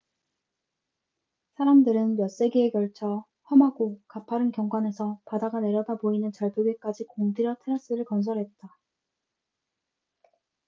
사람들은 몇 세기에 걸쳐 험하고 가파른 경관에서 바다가 내려다 보이는 절벽에까지 공들여 테라스를 건설했다